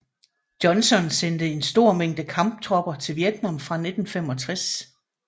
Johnson sendte en stor mængde kamptropper til Vietnam fra 1965